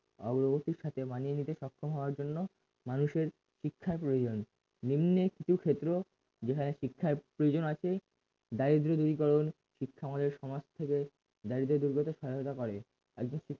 অগ্রগতির সাথে মানিয়ে নিতে সক্ষম হওয়ার জন্য মানুষের শিক্ষার প্রয়োজন নিম্নে কিছু ক্ষেত্র যেখানে শিক্ষার প্রয়োজন আছে দারিদ্র দূরীকরণ শিক্ষা আমাদের সমাজ থেকে দারিদ্র দূর করতে সহায়তা করে একজন